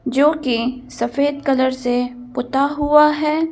जो कि सफेद कलर से पुता हुआ है ।